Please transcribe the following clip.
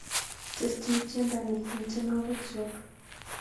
Tesyi tyendo ni eng tyenwogikchuk